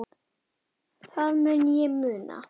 Það mun ég muna.